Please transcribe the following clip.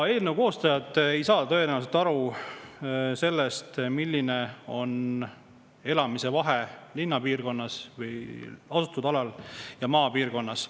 Eelnõu koostajad ei saa tõenäoliselt aru, milline vahe on, kas elad linnapiirkonnas või maapiirkonnas.